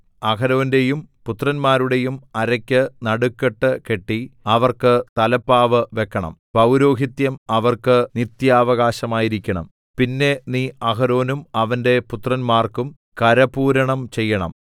അഹരോന്റെയും പുത്രന്മാരുടെയും അരയ്ക്ക് നടുക്കെട്ട് കെട്ടി അവർക്ക് തലപ്പാവ് വെക്കണം പൗരോഹിത്യം അവർക്ക് നിത്യാവകാശമായിരിക്കണം പിന്നെ നീ അഹരോനും അവന്റെ പുത്രന്മാർക്കും കരപൂരണം ചെയ്യണം